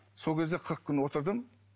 сол кезде қырық күн отырдым